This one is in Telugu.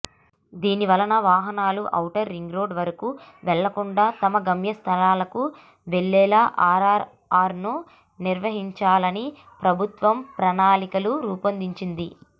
దీనివలన వాహనాలు ఔటర్ రింగ్ రోడ్డు వరకు వెళ్లకుండా తమ గమ్యస్థానాలకు వెళ్లేలా ఆర్ఆర్ఆర్ను నిర్మించాలని ప్రభుత్వం ప్రణాళికలు రూపొందించింది